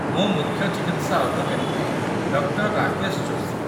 ମୁଁ ମୁଖ୍ୟ ଚିକିତ୍ସା ଅଧିକାରୀ ଡକ୍ଟର ରାକେଶ ଯୋଶୀ।